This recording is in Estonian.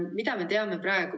Mida me teame praegu?